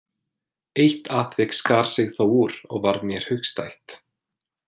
Eitt atvik skar sig þó úr og varð mér hugstætt.